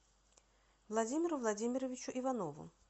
владимиру владимировичу иванову